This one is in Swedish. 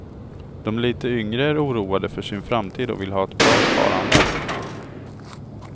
De lite yngre är oroade för sin framtid och vill ha ett bra sparande.